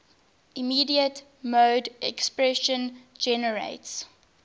immediate mode expression generates